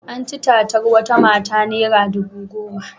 An ci tatar wata mata naira dubu goma.